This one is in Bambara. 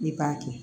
I b'a kɛ